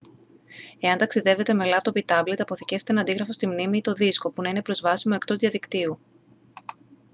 εάν ταξιδεύετε με λάπτοπ ή τάμπλετ αποθηκεύστε ένα αντίγραφο στη μνήμη ή το δίσκο που να είναι προσβάσιμο εκτός διαδικτύου